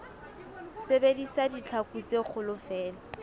sebedisa ditlhaku tse kgolo feela